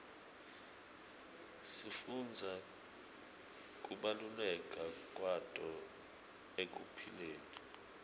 sifundza kubaluleka kwato ekuphileni